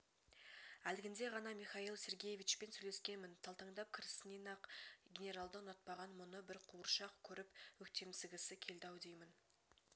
әлгінде ғана михаил сергеевичпен сөйлескенмін талтаңдап кірісінен-ақ генералды ұнатпаған мұны бір қуыршақ көріп өктемсігісі келді-ау деймін